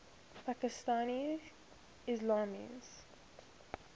pakistani ismailis